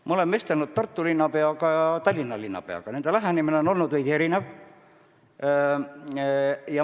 Ma olen vestelnud Tartu linnapeaga ja Tallinna linnapeaga, nende lähenemine on olnud veidi erinev.